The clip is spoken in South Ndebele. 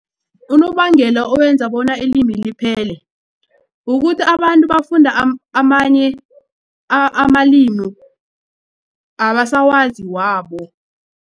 Unobangela owenza bona ilimi liphele kukuthi abantu bafunda amanye amalimi abasawazi wabo.